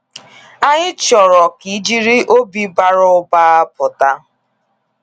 Anyị chọrọ ka ijiri obi bara ụba pụta